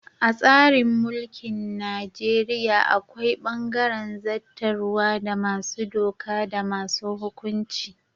A tsarin mulkin Najeriya akwai bangaren zattarwa da masu doka da masu hukunci.